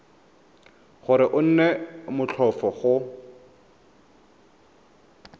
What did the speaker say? gore go nne motlhofo go